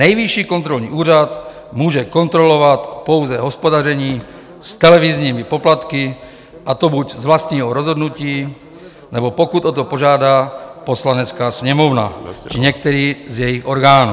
Nejvyšší kontrolní úřad může kontrolovat pouze hospodaření s televizními poplatky, a to buď z vlastního rozhodnutí, nebo pokud o to požádá Poslanecká sněmovna či některý z jejích orgánů.